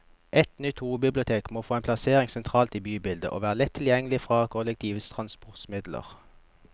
Et nytt hovedbibliotek må få en plassering sentralt i bybildet, og være lett tilgjengelig fra kollektive transportmidler.